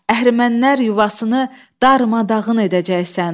əhrəmənlər yuvasını darmadağın edəcəksən.